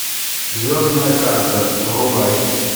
звездная карта врубай